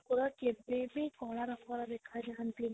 ଠାକୁର କେବେ ବି କଳା ରଙ୍ଗର ଦେଖା ଯାଆନ୍ତିନି